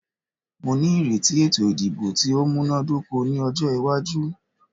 Mó ní ìrètí ètò ìdìbò tí o múná dóko ní ọjọ́ iwájú.